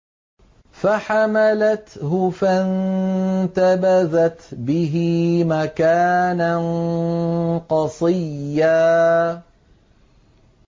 ۞ فَحَمَلَتْهُ فَانتَبَذَتْ بِهِ مَكَانًا قَصِيًّا